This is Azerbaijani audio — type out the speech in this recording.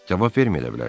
Cavab verməyə də bilərsiz.